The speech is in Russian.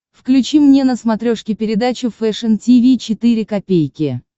включи мне на смотрешке передачу фэшн ти ви четыре ка